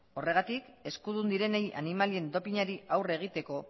horregatik eskudun direnei animalien dopinari aurre egiteko